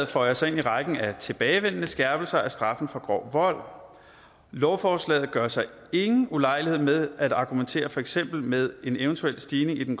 føjer sig ind i rækken af tilbagevendende skærpelser af straffen for grov vold lovforslaget gør sig ingen ulejlighed med at argumentere for eksempel med en eventuel stigning i den